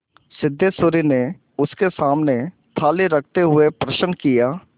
सिद्धेश्वरी ने उसके सामने थाली रखते हुए प्रश्न किया